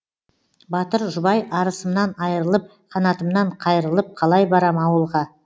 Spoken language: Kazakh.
батыр жұбай арысымнан айрылып қанатымнан қайрылып қалай барам ауылға